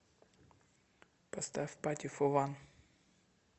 поставь пати фо ван